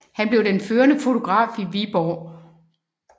Han blev den førende fotograf i Viborg